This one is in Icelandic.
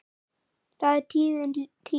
Það er liðin tíð.